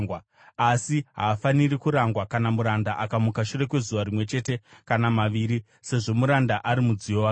asi haafaniri kurangwa kana muranda akamuka shure kwezuva rimwe chete kana maviri, sezvo muranda ari mudziyo wake.